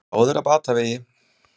Báðir á batavegi